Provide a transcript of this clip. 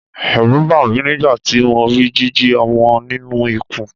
Ẹ̀rù bà mí nígbà tí mo rí jíjì ọmọ nínú ikùn.